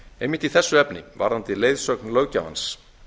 einmitt í þessu efni varðandi leiðsögn löggjafans